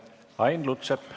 Ain Lutsepp.